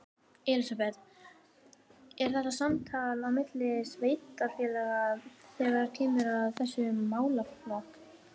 Elísabet: Er eitthvað samtal á milli sveitarfélaga þegar kemur að þessum málaflokk?